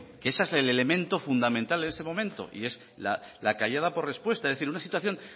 que ese es el elemento fundamental este momento y es la callada por respuesta es decir en una situación